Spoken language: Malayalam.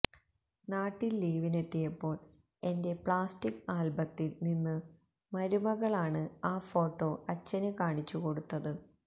നാട്ടില് ലീവിനെത്തിയപ്പോള് എന്റെ പ്ലാസ്റ്റിക് ആല്ബത്തില് നിന്ന് മരുമകളാണ് ആ ഫോട്ടോ അച്ഛന് കാണിച്ചു കൊടുത്തത്